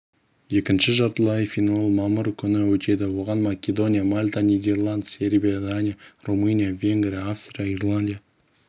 екінші жартылай финал мамыр күні өтеді оған македония мальта нидерланд сербия дания румыния венгрия австрия ирландия